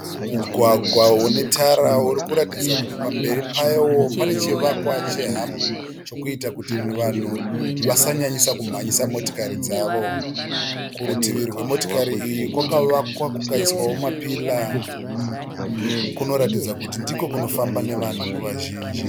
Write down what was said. Mugwagwa une tara urikuratidza kuti pamberi pawo pane chivakwa chehambu chokuita kuti vanhu vasanyanyisa kumhanyisa motokari dzavo. Kurutivi rwemotokari iyi kwakavakwa kukaiswawo mapira kunoratidza kuti ndokunofamba nevanhu nguva zhinji.